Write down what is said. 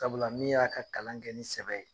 Sabula min y'a ka kalan kɛ ni sɛbɛ ye